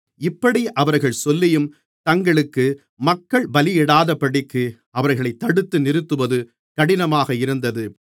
இப்படி அவர்கள் சொல்லியும் தங்களுக்கு மக்கள் பலியிடாதபடிக்கு அவர்களை தடுத்து நிறுத்துவது கடினமாக இருந்தது